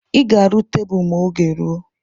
I ga-aru tebulu ma oge rụọ